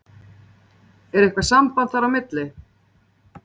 Er eitthvað samband þar á milli?